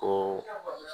Ko